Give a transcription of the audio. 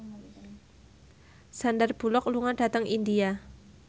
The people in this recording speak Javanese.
Sandar Bullock lunga dhateng India